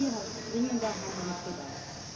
Hier herrscht dringender Handlungsbedarf.